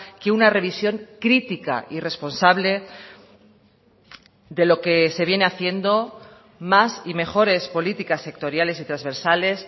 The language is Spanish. que una revisión crítica y responsable de lo que se viene haciendo más y mejores políticas sectoriales y transversales